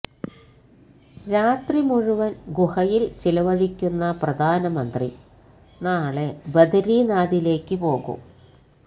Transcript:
രാത്രി മുഴുവന് ഗുഹയില് ചിലവഴിക്കുന്ന പ്രധാനമന്ത്രി നാളെ ബദരീനാഥിലേക്ക് പോകും